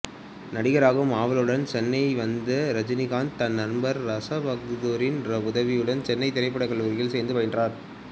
நடிகராகும் ஆவலுடன் சென்னை வந்த இரஜினிகாந்து தன் நண்பர் ராச பகதூரின் உதவியுடன் சென்னை திரைப்படக் கல்லூரியில் சேர்ந்து பயின்றார்